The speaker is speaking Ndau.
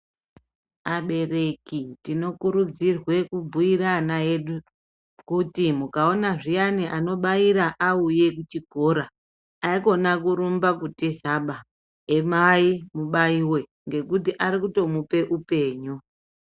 Abereki tinokurudzirwe kubhuire ana edu kuti mukaona zviyani anobaira auye kuchikora haikona kurumba kutiza baa, emai mubaiwe ngekuti arikutomupe upenyu.